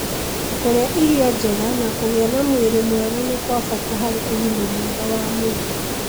Kũrĩa irio njega na kũgĩa na mwĩrĩ mwega nĩ kwa bata harĩ ũgima mwega wa mwĩrĩ